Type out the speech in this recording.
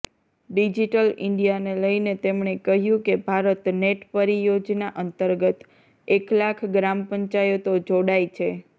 digital ઈન્ડિયાને લઈને તેમણે કહ્યું કે ભારત નેટ પરિયોજના અંતર્ગત એક લાખ ગ્રામપંચાયતો જોડાઈ છે